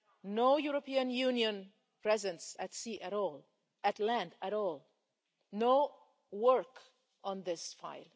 No European Union presence at sea at all, at land at all, no work on this file.